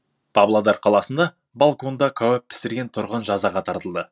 павлодар қаласында балконда кәуап пісірген тұрғын жазаға тартылды